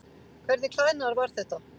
Hvernig klæðnaður var þetta?